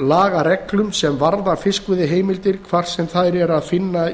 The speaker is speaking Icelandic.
lagareglum sem varða fiskveiðiheimildir hvar sem þær er að finna